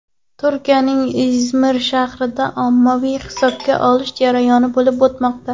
Turkiyaning Izmir shahrida ommaviy hibsga olish jarayoni bo‘lib o‘tmoqda.